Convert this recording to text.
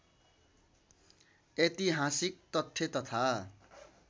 ऐतिहासिक तथ्य तथा